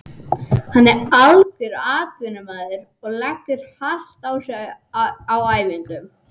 Hann er algjör atvinnumaður og leggur hart á sig á æfingum.